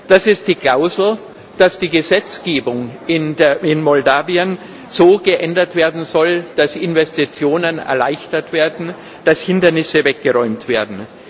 Das ist die Klausel, dass die Gesetzgebung in Moldau so geändert werden soll, dass Investitionen erleichtert werden, dass Hindernisse weggeräumt werden.